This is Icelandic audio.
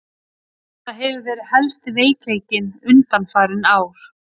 Það hefur verið helsti veikleikinn undanfarin ár.